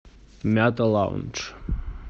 мята лаунж